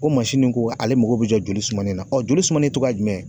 O ne ko ale mago bɛ jɔli sumanen la joli sumi togɔ jumɛn ?